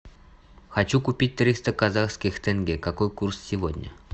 хочу купить триста казахских тенге какой курс сегодня